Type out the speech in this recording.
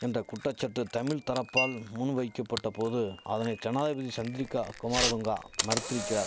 என்ற குற்றசற்று தமிழ் தரப்பால் முன் வைக்கபட்ட போது அதனை ஜனாதிபதி சந்திரிகா குமாரதுங்கா மறுத்திரிக்கிறார்